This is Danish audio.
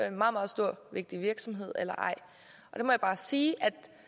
en meget meget stor og vigtig virksomhed eller ej og der må jeg bare sige